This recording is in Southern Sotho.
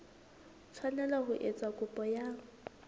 tshwanela ho etsa kopo ya